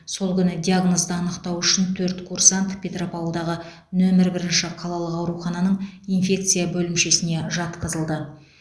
сол күні диагнозды анықтау үшін төрт курсант петропавлдағы нөмір бірінші қалалық аурухананың инфекция бөлімшесіне жатқызылды